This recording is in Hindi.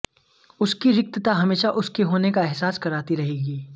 उसकी रिक्तता हमेशा उसके होने का एहसास कराती रहेगी